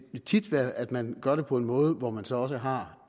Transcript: vil tit være at man gør det på en måde hvor man så også har